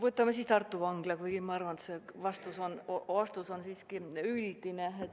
Võtame siis Tartu Vangla, kuigi ma arvan, et see vastus on siiski üldine.